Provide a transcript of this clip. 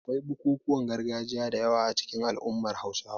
Akwai bukukuwan gargajiya da yawa a cikin al'ummar Hausawa.